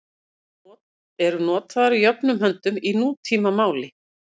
Þær eru notaðar jöfnum höndum í nútímamáli.